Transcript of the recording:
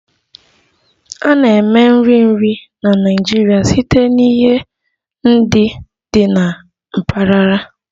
A na-eme nri nri na Naịjirịa site na ihe ndị dị na mpaghara